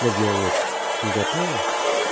на диалог не готова